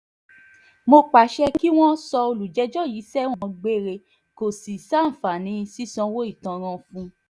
mo pàṣẹ kí wọ́n sọ olùjẹ́jọ́ yìí sẹ́wọ̀n gbére kó sì ṣàǹfààní sísanwó ìtanràn fún un